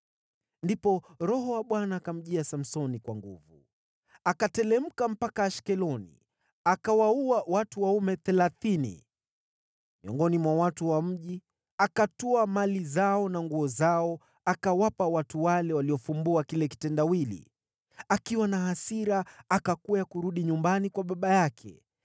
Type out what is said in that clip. Ndipo Roho wa Bwana akamjia Samsoni kwa nguvu. Akateremka mpaka Ashkeloni, akawaua watu waume thelathini miongoni mwa watu wa mji, akatwaa mali zao na nguo zao, akawapa watu wale waliofumbua kile kitendawili. Akiwa na hasira, akakwea kurudi nyumbani kwa baba yake.